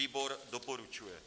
Výbor doporučuje.